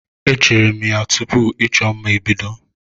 Echeere m ya tupu ịchọ mma ebido.